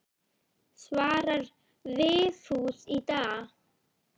Svarar Vigfús í dag?